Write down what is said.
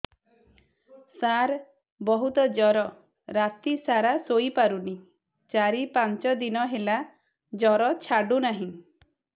ସାର ବହୁତ ଜର ରାତି ସାରା ଶୋଇପାରୁନି ଚାରି ପାଞ୍ଚ ଦିନ ହେଲା ଜର ଛାଡ଼ୁ ନାହିଁ